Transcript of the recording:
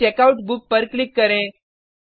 फिर checkout book पर click करें